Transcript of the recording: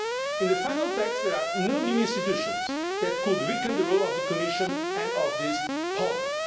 In the final text, there are no new institutions that could weaken the role of the Commission and of this Parliament.